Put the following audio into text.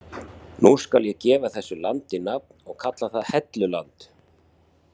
Nú skal ég gefa þessu landi nafn og kalla það Helluland.